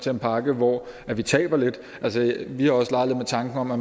en pakke hvor vi taber lidt vi har også leget lidt med tanken om at